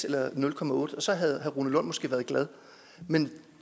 eller nul otte og så havde herre rune lund måske været glad men